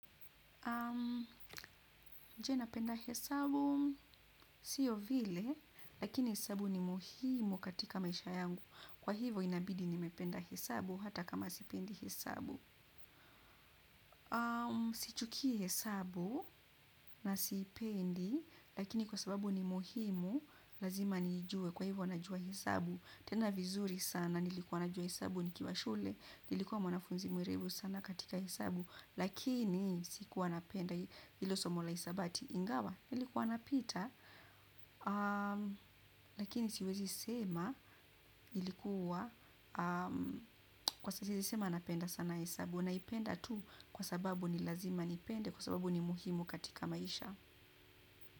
Je napenda hesabu, siyo vile, lakini hesabu ni muhimu katika maisha yangu. Kwa hivyo inabidi nimependa hesabu hata kama sipendi hesabu. Sichukii hesabu na siipendi lakini kwa sababu ni muhimu lazima niijue. Kwa hivyo, najua hesabu. Tena vizuri sana, nilikuwa najua hesabu nikiwa shule, nilikuwa mwanafunzi mwerevu sana katika hesabu, lakini sikuwa napenda hilo somo la hisabati ingawa, nilikuwa napita, lakini siwezi sema, ilikuwa, kwa siwezi sema napenda sana hesabu, naipenda tu kwa sababu ni lazima nipende, kwa sababu ni muhimu katika maisha.